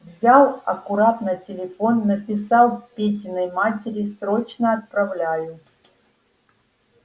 взял аккуратно телефон написал петиной матери срочно отправляют